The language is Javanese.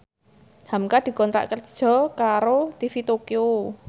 hamka dikontrak kerja karo TV Tokyo